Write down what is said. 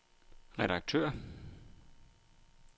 redaktør